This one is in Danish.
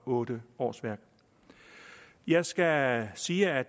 8 årsværk jeg skal sige at